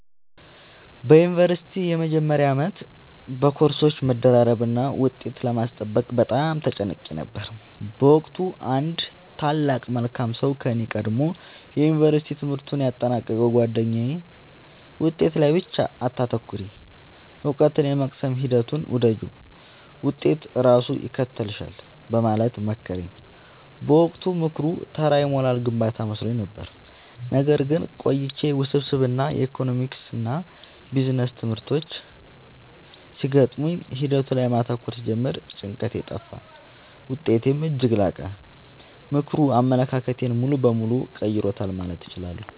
በዩኒቨርሲቲ መጀመሪያ ዓመት በኮርሶች መደራረብና ውጤት ለማስጠበቅ በጣም ተጨንቄ ነበር። በወቅቱ አንድ ታላቅ መልካም ሰው ከኔ ቀድሞ የዩንቨርስቲ ትምህርቱን ያጠናቀቀው ጉአደኛዬ «ውጤት ላይ ብቻ አታተኩሪ: እውቀትን የመቅሰም ሂደቱን ውደጂው፣ ውጤት ራሱ ይከተልሻል» በማለት መከረኝ። በወቅቱ ምክሩ ተራ የሞራል ግንባታ መስሎኝ ነበር። ነገር ግን ቆይቼ ውስብስብ የኢኮኖሚክስና ቢዝነስ ትምህርቶች ሲገጥሙኝ ሂደቱ ላይ ማተኮር ስጀምር ጭንቀቴ ጠፋ: ውጤቴም እጅግ ላቀ። ምክሩ አመለካከቴን ሙሉ በሙሉ ቀይሮታል ማለት እችላለሁ።